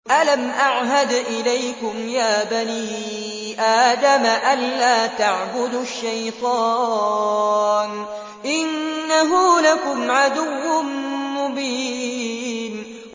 ۞ أَلَمْ أَعْهَدْ إِلَيْكُمْ يَا بَنِي آدَمَ أَن لَّا تَعْبُدُوا الشَّيْطَانَ ۖ إِنَّهُ لَكُمْ عَدُوٌّ مُّبِينٌ